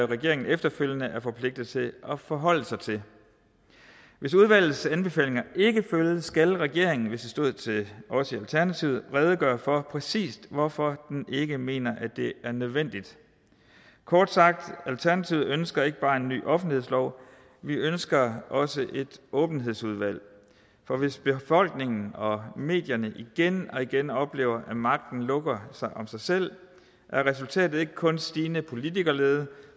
regeringen efterfølgende er forpligtet til at forholde sig til hvis udvalgets anbefalinger ikke følges skal regeringen hvis det stod til os i alternativet redegøre for præcis hvorfor den ikke mener at det er nødvendigt kort sagt alternativet ønsker ikke bare en ny offentlighedslov vi ønsker også et åbenhedsudvalg for hvis befolkningen og medierne igen og igen oplever at magten lukker sig om sig selv er resultatet ikke kun stigende politikerlede